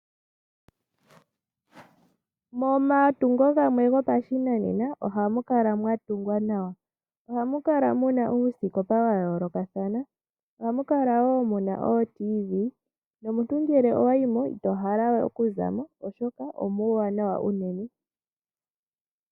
Momatungo gamwe gopashinanena ohamu kala mwa tungwa nawa ohamu kala muna uusikopa wa yoolokathana ohamu kala muna ootv no muntu ngele owa yimo ito hala we okuzamo oshoka omuuwanawa unene.